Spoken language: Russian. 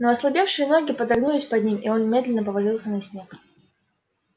но ослабевшие ноги подогнулись под ним и он медленно повалился на снег